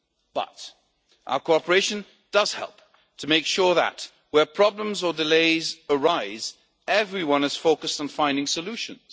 But our cooperation does help to ensure that, where problems or delays arise, everyone is focused on finding solutions.